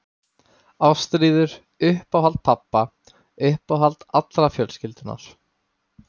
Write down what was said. Ástríður, uppáhald pabba, uppáhald allrar fjölskyldunnar.